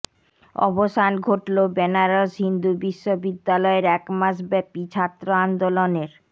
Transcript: অবসান ঘটন বেনারস হিন্দু বিশ্ববিদ্যালয়ের একমাস ব্যপী ছাত্র আন্দোলনের